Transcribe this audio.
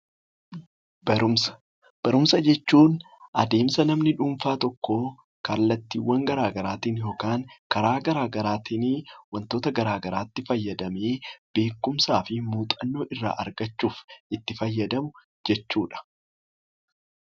Barumsa. Barumsa jechuun adeemsa namni dhuunfaa tokkoo kallattiiwwan garaa garaatiin yookaan karaa garaa garaatiini wantoota garaa garaatti fayyadamee beekumsaa fi muuxannoo irraa argachuuf itti fayyadamu jechuudha.